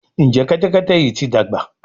Njé Kẹ́tẹ́kẹ́tẹ́ yí ti dàgbà?